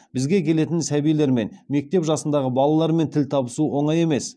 бізге келетін сәбилермен мектеп жасындағы балалармен тіл табысу оңай емес